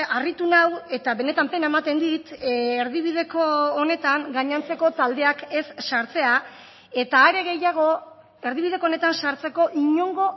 harritu nau eta benetan pena ematen dit erdibideko honetan gainontzeko taldeak ez sartzea eta are gehiago erdibideko honetan sartzeko inongo